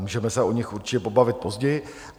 Můžeme se o nich určitě pobavit později.